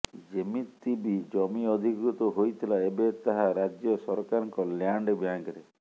ଯେତିକି ବି ଜମି ଅଧିକୃତ ହୋଇଥିଲା ଏବେ ତାହା ରାଜ୍ୟ ସରକାରଙ୍କ ଲ୍ୟାଣ୍ଡ ବ୍ୟାଙ୍କରେ